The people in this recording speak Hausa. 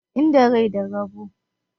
Inda rai da rabo.